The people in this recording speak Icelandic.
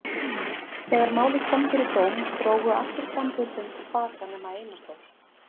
Þegar málið kom fyrir dóm drógu allir framburð sinn til baka nema Einar Þór.